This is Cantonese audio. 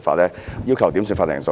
我要求點算法定人數。